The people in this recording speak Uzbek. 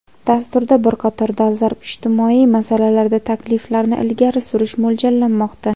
dasturda bir qator dolzarb ijtimoiy masalalarda takliflarni ilgari surish mo‘ljallanmoqda.